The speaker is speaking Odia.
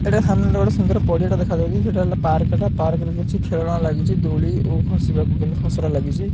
ଏଇଟା ସାମ୍ନାରେ ଗୋଟେ ସୁନ୍ଦର୍ ପଡିଆ ଟା ଦେଖାଯାଉଚି ସେଇଟା ହେଲା ପାର୍କ ଟା ପାର୍କ ରେ କିଛି ଖେଳନା ଲାଗିଚି ଦୋଳି ଓ ଖସିବାକୁ କେମିତି ଖସରା ଲାଗିଚି।